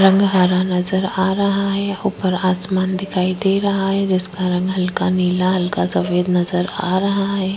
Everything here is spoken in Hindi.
जिसका रंग हरा रंग नज़र आ रहा है ऊपर आसमान दिखाई दे रहा है जिसका रंग हल्का नीला हल्का सफेद नज़र आ रहा है।